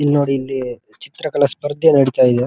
ಇಲ್ನೋಡಿ ಇಲ್ಲಿ ಚಿತ್ರಕಲಾ ಸ್ಪರ್ಧೆ ನಡೀತಾ ಇದೆ.